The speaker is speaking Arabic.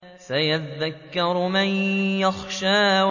سَيَذَّكَّرُ مَن يَخْشَىٰ